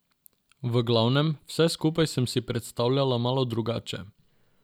V glavnem, vse skupaj sem si predstavljala malo drugače.